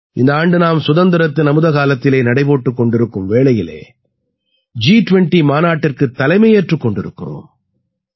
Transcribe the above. இந்த ஆண்டு நாம் சுதந்திரத்தின் அமுதக்காலத்தில் நடை போட்டுக் கொண்டிருக்கும் வேளையில் ஜி20 மாநாட்டிற்குத் தலைமையேற்றுக் கொண்டிருக்கிறோம்